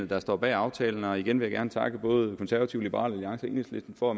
der står bag aftalen og igen vil jeg gerne takke både konservative liberal alliance og enhedslisten for at